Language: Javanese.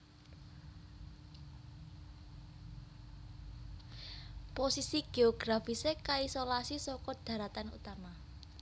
Posisi géografisé kaisolasi saka dharatan utama